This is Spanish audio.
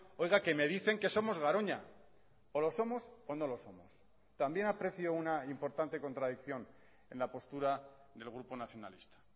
oiga que me dicen que somos garoña o lo somos o no lo somos también aprecio una importante contradicción en la postura del grupo nacionalista